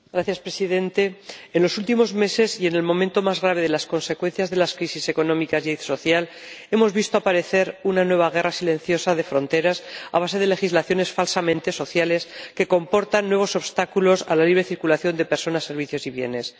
Señor Presidente, en los últimos meses y en el momento más grave de las consecuencias de la crisis económica y social, hemos visto aparecer una nueva guerra silenciosa de fronteras a base de legislaciones falsamente sociales que comportan nuevos obstáculos a la libre circulación de personas, servicios y bienes.